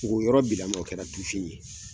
O yɔrɔ bilama kɛra tufin ye.